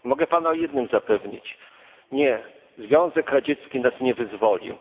Mogę Pana o jednym zapewnić nie, Związek Radziecki nas nie wyzwolił.